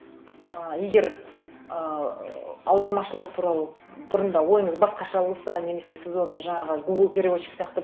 ы егер ыыы аудармашылар туралы бұрында ойыңыз басқаша болса немесе сіз оны жаңағы гугл переводчик сияқты